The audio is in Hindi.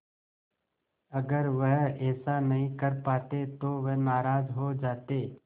अगर वह ऐसा नहीं कर पाते तो वह नाराज़ हो जाते